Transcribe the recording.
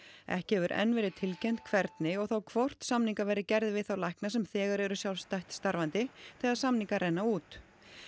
ekki hefur enn verið tilkynnt hvernig og þá hvort samningar verði gerðir við þá lækna sem þegar eru sjálfstætt starfandi þegar samningar renna út